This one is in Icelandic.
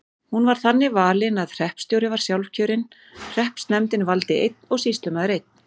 Hún var þannig valin að hreppstjóri var sjálfkjörinn, hreppsnefndin valdi einn og sýslumaður einn.